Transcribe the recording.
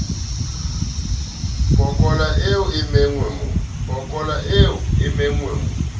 pokola eo e nenge mo